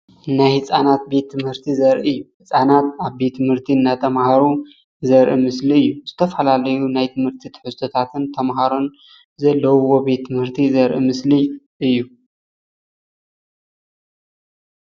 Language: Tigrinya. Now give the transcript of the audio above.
ናይ ህፃናት ቤት ትምህርቲ ዘርኢ እዩ፡፡ ህፃናት ኣብ ቤት ትምህርቲ እንዳተማሃሩ ዘርኢ ምስሊ እዩ፡፡ ዝተፈላለዩ ናይ ትምህርቲ ትሕዝቶታትን ተማሃሮን ዘለዉዎ ቤት ት/ቲ ዘርኢ ምስሊ እዩ፡፡